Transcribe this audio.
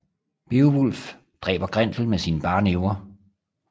Beovulf dræber Grendel med sine bare næver